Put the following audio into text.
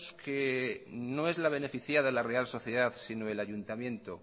que no es la beneficiada la real sociedad sino el ayuntamiento